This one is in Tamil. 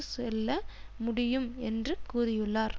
செல்ல முடியும் என்றும் கூறியுள்ளார்